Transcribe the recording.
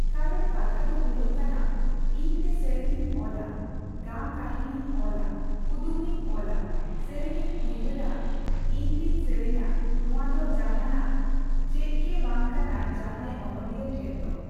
ᱠᱟᱨᱚᱱ ᱠᱟᱛᱷᱟᱫᱚ ᱦᱳᱭᱳᱜ ᱠᱟᱱᱟ ᱤᱧᱛᱮ ᱥᱮᱨᱮᱧ ᱤᱧ ᱚᱞᱟ ᱜᱟᱢ ᱠᱟᱹᱦᱱᱤᱧ ᱚᱞᱟ ᱠᱩᱫᱩᱢᱤᱧ ᱚᱞᱟ ᱥᱮᱨᱮᱧ ᱤᱧ ᱩᱭᱦᱟᱹᱨᱟ ᱤᱧ ᱛᱮᱧ ᱥᱮᱨᱮᱧᱟ ᱱᱚᱣᱟ ᱫᱚ ᱡᱟᱦᱟᱱᱟᱜ ᱪᱮᱫᱜᱮ ᱵᱟᱝᱠᱟᱱᱟ ᱡᱟᱦᱟᱸᱭ ᱚᱱᱚᱞᱤᱭᱟᱹ ᱴᱷᱮᱱᱫᱚ᱾